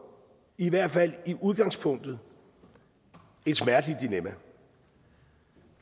i hvert fald i udgangspunktet et smerteligt dilemma